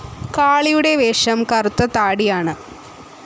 കാളിയുടെ വേഷം കറുത്ത താടിയാണ്.